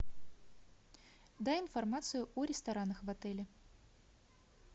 дай информацию о ресторанах в отеле